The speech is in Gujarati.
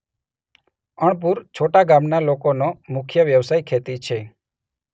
અણપુર છોટા ગામના લોકોનો મુખ્ય વ્યવસાય ખેતી છે.